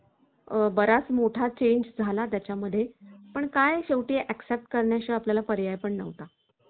अश्या negativity तिच्या तिच्यामध्ये स्थापित होतात आणि ती एक प्रकारे निराश आणि अं आनंद विरहित जीवन जगत असते परंतु